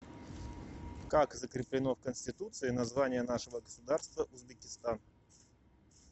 как закреплено в конституции название нашего государства узбекистан